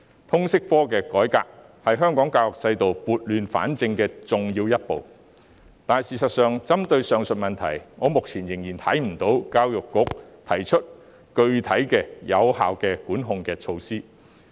通識科的改革是香港教育制度撥亂反正的重要一步，但針對上述問題，我目前仍未看到教育局提出具體和有效的管控措施。